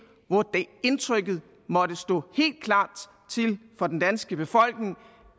hvor indtrykket måtte stå helt klart for den danske befolkning